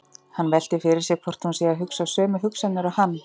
Hann veltir fyrir sér hvort hún sé að hugsa sömu hugsanir og hann.